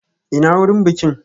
Ina wurin bikin?